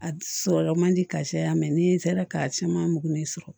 A sɔrɔ man di ka saya ni n sera ka caman mugan min sɔrɔ